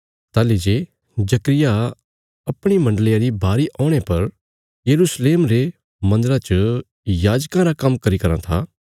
ताहली जे जकर्याह अपणी मण्डलिया री बारी औणे पर यरूशलेम रे मन्दरा च याजकां रा काम्म करी रां था